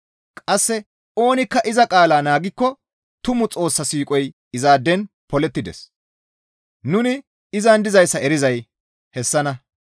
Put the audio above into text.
Qasse oonikka iza qaalaa naagikko tumu Xoossa siiqoy izaaden polettides; nuni izan dizayssa nu erizay hessanna.